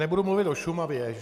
Nebudu mluvit o Šumavě.